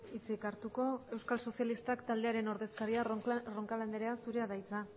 hitzik hartuko euskal sozialistak taldearen ordezkaria den roncal andrea zurea da hitza